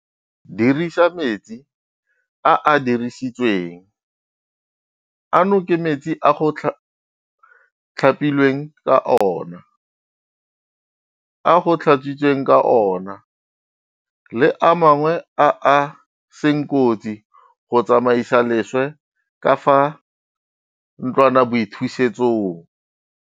Dirisa metsi a a dirisitsweng ano ke metsi a go tlhapilweng ka ona, a go tlhatswitsweng ka ona le a mangwe a a seng kotsi go tsamaisa leswe ka fa ntlwanaboithusetsong.